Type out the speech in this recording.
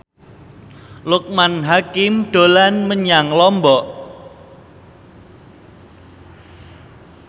Loekman Hakim dolan menyang Lombok